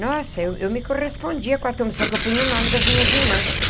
Nossa, eu eu me correspondia com a turma, só que eu punha o nome das minhas irmãs.